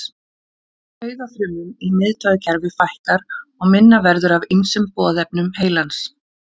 Taugafrumum í miðtaugakerfi fækkar og minna verður af ýmsum boðefnum heilans.